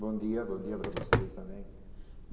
Bom dia, bom dia para vocês também.